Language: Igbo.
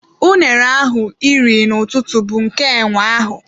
Unere ahụ iri n'ụtụtụ bụ nke enwe ahụ.